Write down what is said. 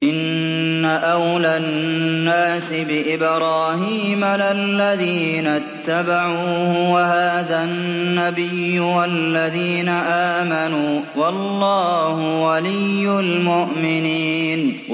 إِنَّ أَوْلَى النَّاسِ بِإِبْرَاهِيمَ لَلَّذِينَ اتَّبَعُوهُ وَهَٰذَا النَّبِيُّ وَالَّذِينَ آمَنُوا ۗ وَاللَّهُ وَلِيُّ الْمُؤْمِنِينَ